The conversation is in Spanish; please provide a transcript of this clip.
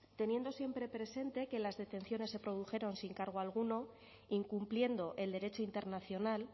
teniendo siempre presente que las detenciones se produjeron sin cargo alguno incumpliendo el derecho internacional